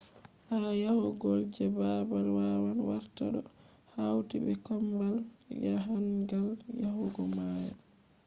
ha yahugo je babal wawan warta do hauti be je kombawal jahangal yahugo mayo